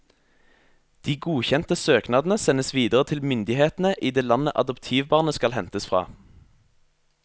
De godkjente søknadene sendes videre til myndighetene i det landet adoptivbarnet skal hentes fra.